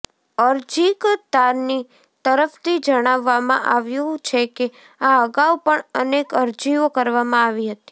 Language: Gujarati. અરજીકર્તાની તરફથી જણાવવામાં આવ્યું છે કે આ અગાઉ પણ અનેક અરજીઓ કરવામાં આવી હતી